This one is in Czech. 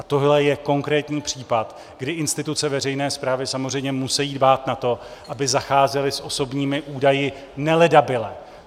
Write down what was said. A tohle je konkrétní případ, kdy instituce veřejné správy samozřejmě musejí dbát na to, aby zacházely s osobními údaji neledabyle.